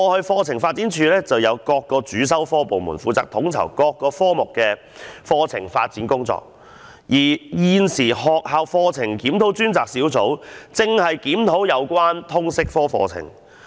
課程發展處以往有就各個主修科設立專責部門，負責統籌各個科目的課程發展工作，而現時學校課程檢討專責小組現正檢討通識科課程。